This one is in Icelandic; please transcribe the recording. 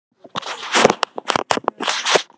eldri gerðir eru þó enn í notkun víða um heim